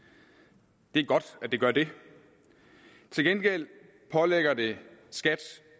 og det er godt at det gør det til gengæld pålægger det skat